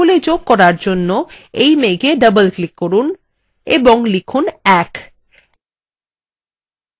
সংখ্যাগুলি যোগ করার জন্য এই মেঘএ double click করুন এবং লিখুন ১